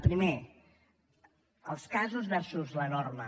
primer els casos versus la norma